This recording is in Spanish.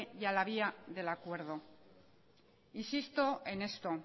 y a la vía del acuerdo insisto en esto